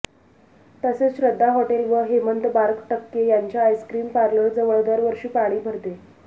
तसेच श्रद्धा हॉटेल व हेमंत बारटक्के यांच्या आईस्क्रिम पार्लरजवळ दरवर्षी पाणी भरते